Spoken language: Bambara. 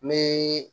Ni